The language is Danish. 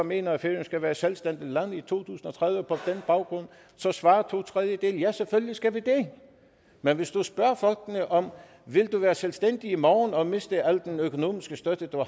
mener at færøerne skal være et selvstændigt land i to tusind og tredive på den baggrund så svarer to tredjedele ja selvfølgelig skal vi det men hvis du spørger folk om de vil være selvstændige i morgen og miste al den økonomiske støtte